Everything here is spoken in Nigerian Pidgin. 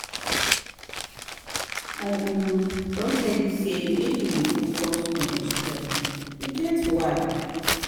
I um don tell you sey make you dey focus on your strengths, e get why.